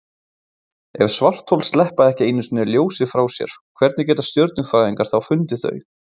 Ef svarthol sleppa ekki einu sinni ljósi frá sér, hvernig geta stjörnufræðingar þá fundið þau?